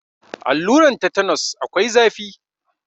Alluran tetenos akwai zafi.